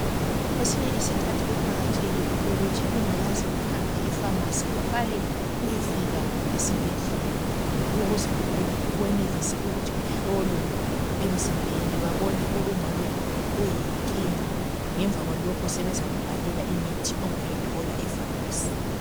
Kwesinye isikhathi kuqakathekile ukuthi ungakaze uhambe e"pharmacy " uqale uyefika esibhedlela ukuze wenelise ukuthi uhlolwe emzimbeni babone okungabe kuyinkinga ngemva kwalokho sebezakubhalela imithi ongayithola e"pharmacy ".